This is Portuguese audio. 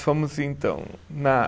Fomos então na